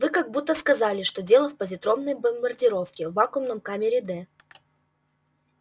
вы как будто сказали что дело в позитронной бомбардировке в вакуумной камере д